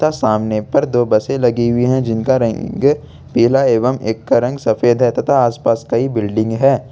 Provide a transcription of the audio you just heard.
ता सामने पर दो बसें लगी हुई है जिनका रंग पीला एवं एक का सफेद है तथा आस पास कई बिल्डिंग है।